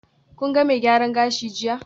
Kun ga mai gyaran gashi jiya?